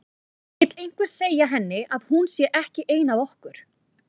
Vill einhver segja henni að hún sé ekki ein af okkur.